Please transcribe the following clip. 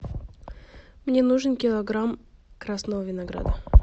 мне нужен килограмм красного винограда